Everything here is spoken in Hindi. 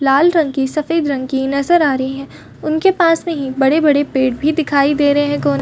लाल रंग की सफ़ेद रंग की नजर आ रही है उनके पास में ही बड़े - बड़े पेड़ भी दिखाई दे रहे है --